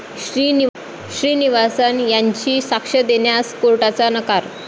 श्रीनिवासन यांची साक्ष देण्यास कोर्टाचा नकार